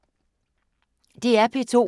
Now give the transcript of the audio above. DR P2